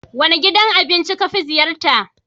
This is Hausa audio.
Wane gidan abinci ka fi ziyarta?